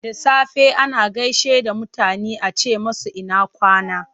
Da safe ana gaishe da mutane a ce musu ina kwana?